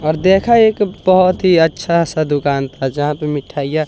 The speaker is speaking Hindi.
और देखा एक बहोत ही अच्छा सा दुकान था जहां पे मिठाइयां--